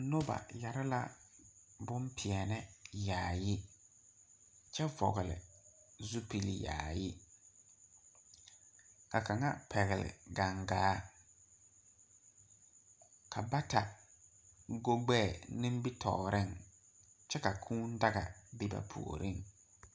Nuba yaree la bunpɛɛni yaayi kye vɔgli zupili yaayi ka kanga pɛgle gangaa ka bata go gbɛɛ nimitoɔring kye ka kũũ daga bin ba poɔring.